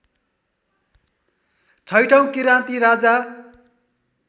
छैटौ Kiranti Raja